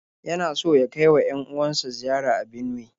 Yana so ya kai wa 'yan-uwan sa ziyara a Benuwe.